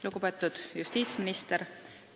Lugupeetud justiitsminister!